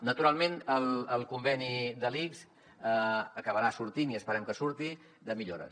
naturalment el conveni de l’ics acabarà sortint i esperem que surti de millores